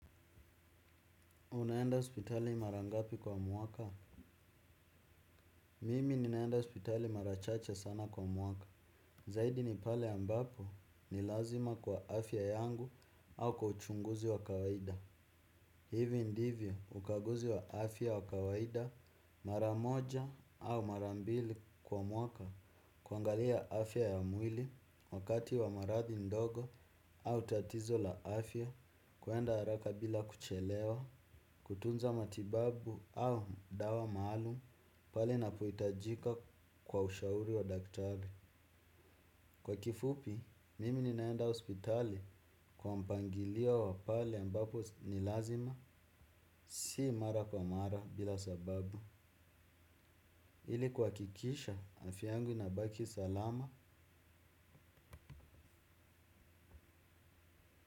Unaenda hospitali mara ngapi kwa mwaka? Mimi ninaenda hospitali mara chache sana kwa mwaka. Zaidi ni pale ambapo ni lazima kwa afya yangu au kwa uchunguzi wa kawaida. Hivi ndivyo ukaguzi wa afya wa kawaida maramoja au mara mbili kwa mwaka. Kuangalia afya ya mwili wakati wa maradhi ndogo au tatizo la afya. Kuenda haraka bila kuchelewa, kutunza matibabu au dawa maalum pale inapohitajika kwa ushauri wa daktari. Kwa kifupi, mimi ninaenda hospitali kwa mpangilio wa pale ambapo ni lazima, si mara kwa mara bila sababu. Ili kuhakikisha, afya yangu inabaki salama.